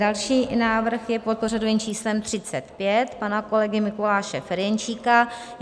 Další návrh je pod pořadovým číslem 35 pana kolegy Mikuláše Ferjenčíka.